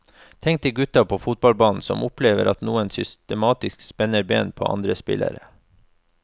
Tenk deg gutta på fotballbanen som opplever at noen systematisk spenner ben på andre spillere.